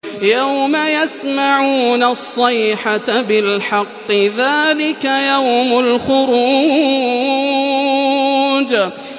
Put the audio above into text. يَوْمَ يَسْمَعُونَ الصَّيْحَةَ بِالْحَقِّ ۚ ذَٰلِكَ يَوْمُ الْخُرُوجِ